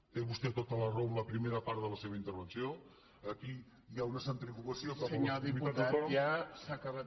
té vostè tota la raó en la primera part de la seva intervenció aquí hi ha una centrifugació cap a les comunitats autònomes